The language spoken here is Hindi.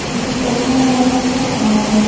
किसी पटना साहिब का और--